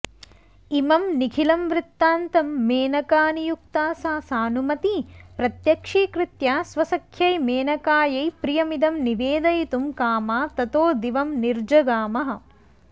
इमं निखिलं वृत्तान्तं मेनकानियुक्ता सा सानुमती प्रत्यक्षीकृत्य स्वसख्यै मेनकायै प्रियमिदं निवेदयितुं कामा ततो दिवं निर्जगामः